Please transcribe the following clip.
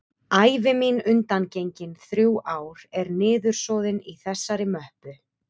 Ævi mín undangengin þrjú ár er niðursoðin í þessari möppu.